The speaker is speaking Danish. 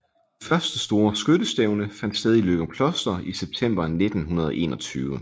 Det første store skyttestævne fandt sted i Løgumkloster i september 1921